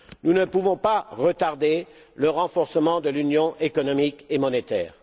Nous ne pouvons pas retarder le renforcement de l'Union économique et monétaire.